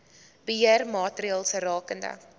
beheer maatreëls rakende